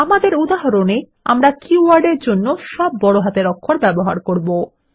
আমাদের উদাহরণে আমরা কীওয়ার্ড এর জন্য সব বড় হাতের অক্ষর ব্যবহার করব